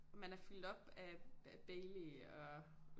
Man er fuldt op af af Baileys og